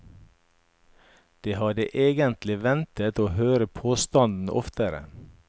De hadde egentlig ventet å høre påstanden oftere.